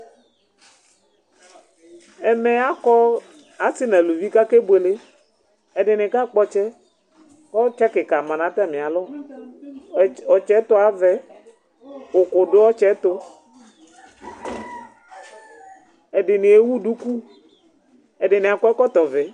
ɛmɛ ɑkɔ ɔsinu ωluvi kɑkɛbuɛlɛ ɛdini kɑkpo ɔtsɛ ɔtsǝkikɑ mɑnɑtɑmiɑlɔ ɔtsɛyɛtuɑvɛ ωkudu ɔtsɛtu ɛdini ɛwuduku ɛdiniɑkɔ ɛkɔkovɛ